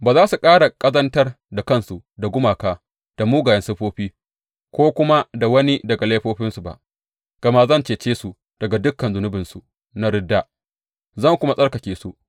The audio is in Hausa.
Ba za su ƙara ƙazantar da kansu da gumaka da mugayen siffofi ko kuma da wani daga laifofinsu ba, gama zan cece su daga dukan zunubinsu na ridda, zan kuma tsarkake su.